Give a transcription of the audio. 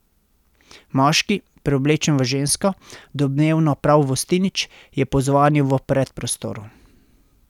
Moški, preoblečen v žensko, domnevno prav Vostinić, je pozvonil v predprostoru.